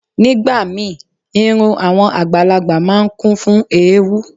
Nígbà míì, irun àwọn àgbàlagbà máa ń kún fún ewúú.